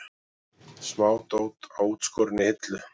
Smádót á útskorinni hillu.